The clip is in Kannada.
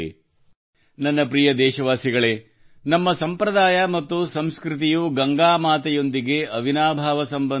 ನನ್ನ ಪ್ರೀತಿಯ ದೇಶವಾಸಿಗಳೇ ನಮ್ಮ ಸಂಪ್ರದಾಯ ಮತ್ತು ಸಂಸ್ಕೃತಿಯು ಗಂಗಾ ಮಾತೆಯೊಂದಿಗೆ ಅವಿನಾಭಾವ ಸಂಬಂಧ ಹೊಂದಿದೆ